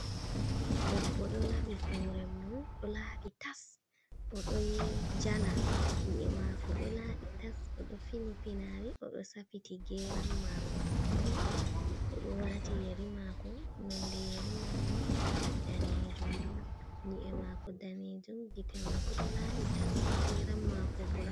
Debbo do labi hore mum do labi tas o doyee jala nyi’e mako do labi tas, odo fini pinari, odo safiti geram mako, odo wati yeri mako, nonde yeri manni danejum on nyi’e mako danejum gite mako do labi tas geram mako burau.